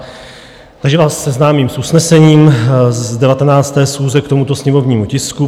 Takže vás seznámím s usnesením z 19. schůze k tomuto sněmovnímu tisku.